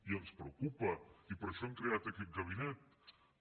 i ens preocupa i per això hem creat aquest gabinet